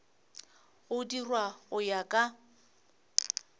go dirwa go ya ka